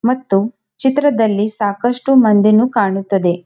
ಮತ್ತು ಚಿತ್ರದಲ್ಲಿ ಸಾಕಷ್ಟು ಮಂದಿನು ಕಾಣುತ್ತದೆ.